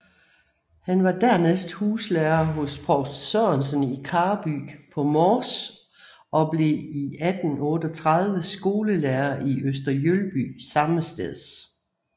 Han var dernæst huslærer hos provst Sørensen i Karby på Mors og blev 1836 skolelærer i Øster Jølby sammesteds